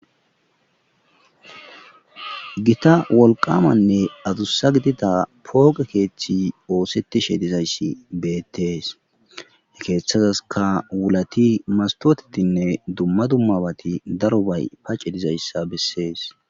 Gita wolqamanne adussa gidida pooge keeththi oosetishe dizayssi beettees he keeththazaska wulati mastotetinne dumma dummabati darobay pacce dizayssa bessees